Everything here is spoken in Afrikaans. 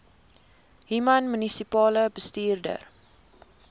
human munisipale bestuurder